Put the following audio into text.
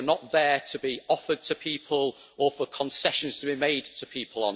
they are not there to be offered to people or for concessions to be made to people.